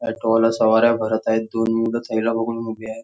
Auto वाला सवाऱ्या भरत आहेत दोन मुलं थैला पकडून उभी आहे.